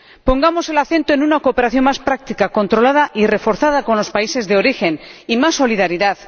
pongamos el acento en una cooperación más práctica, controlada y reforzada con los países de origen, y en más solidaridad.